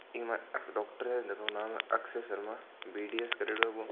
इका मायने एक डोक्टर है जिको नाम हे अक्षय शर्मा बी.डी.एस करियोडो है वो--